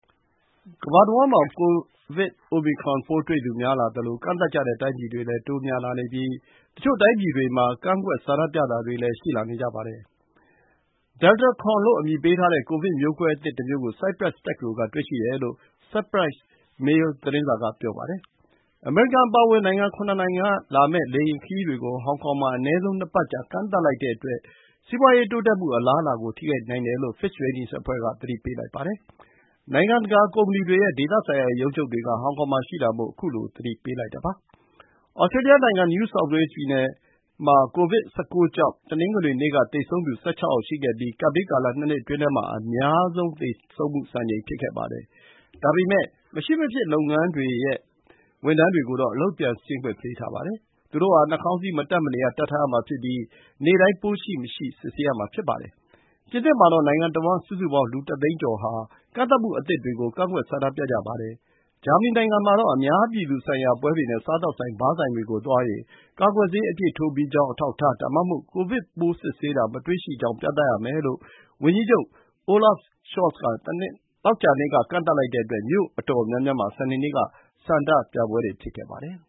ကမ္ဘာတဝန်းမှာ ကိုဗစ် အိုမီခရွန်ပိုးတွေ့သူ များလာသလို ကန့်သတ်ကြတဲ့ တိုင်းပြည်တွေလည်း တိုးများလာနေပြီး တချို့တိုင်းပြည်တွေမှာ ကန့်ကွက် ဆန္ဒပြတာတွေလည်း ရှိလာနေကြပါတယ်။ Deltacron လို့ အမည်ပေးထားတဲ့ ကိုဗစ်မျိုးကွဲအသစ်တမျိုးကို ဆိုက်ပရပ်စ်တက္ကသိုလ်က တွေ့ရှိတယ်လို့ Cyprus Mail သတင်းစာက ဆိုပါတယ်။ အမေရိကန် အပါအဝင် နိုင်ငံ ၇ နိုင်ငံကလာမယ့် လေယာဉ်ခရီးတွေကို ဟောင်ကောင်မှာ အနည်းဆုံး ၂ ပတ်ကြာ ကန့်သတ်လိုက်တဲ့အတွက် စီးပွားရေး တိုးတက်မှု အလားအလာကို ထိခိုက်နိုင်တယ်လို့ Fitch Ratings အဖွဲ့က သတိပေးလိုက်ပါတယ်။ နိုင်ငံတကာ ကုမ္ပဏီတွေရဲ့ ဒေသဆိုင်ရာ ရုံးချုပ်တွေက ဟောင်ကောင်မှာရှိတာမို့ ခုလို သတိပေးလိုက်တာ ဖြစ်ပါတယ်။ သြစတြေးလျနိုင်ငံ New South Wales ပြည်နယ်မှာ COVID-19 ကြောင့် တနင်္ဂနွေနေ့က သေဆုံးသူ ၁၆ ယောက်ရှိခဲ့ပြီး ကပ်ဘေးကာလ ၂ နှစ်အတွင်းမှာ အများဆုံးသေဆုံးမှုစံချိန် ဖြစ်ခဲ့ပါတယ်။ ဒါပေမယ့် မရှိမဖြစ် လုပ်ငန်းတွေရဲ့ ဝန်ထမ်းတွေကိုတော့ အလုပ်ပြန်ဆင်းခွင့် ပေးခဲ့ပါတယ်။ သူတို့ဟာ နှာခေါင်းစည်း မတပ်မနေရ တပ်ထားရမှာဖြစ်ပြီး နေ့တိုင်း ပိုးရှိမရှိ စစ်ဆေးရမှာ ဖြစ်ပါတယ်။ ပြင်သစ်မှာတော့ နိုင်ငံတဝန်း စုစုပေါင်း လူ ၁ သိန်းကျော်ဟာ ကန့်သတ်မှုအသစ်တွေကို ကန့်ကွက် ဆန္ဒပြကြပါတယ်။ ဂျာမနီနိုင်ငံမှာတော့ အများပြည်သူဆိုင်ရာ ပွဲတွေနဲ့ စားသောက်ဆိုင် ဘားဆိုင်တွေကို သွားရင် ကာကွယ်ဆေး အပြည့်ထိုးပြီးကြောင်း အထောက်အထား ဒါမှမဟုတ် ကိုဗစ်ပိုး စစ်ဆေးတာ မတွေ့ရှိကြောင်း ပြသရမယ်လို့ ဝန်ကြီးချုပ် Olaf Scholz က သောကြာနေ့က ကန့်သတ်လိုက်တဲ့အတွက် မြို့တော်တော်များများမှာ စနေနေ့က ဆန္ဒပြပွဲတွေ ဖြစ်ခဲ့ပါတယ်။